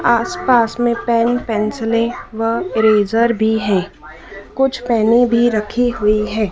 आसपास में पेन पेंसिलें व इरेज़र भी है। कुछ पेने भी रखी हुई है।